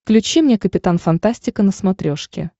включи мне капитан фантастика на смотрешке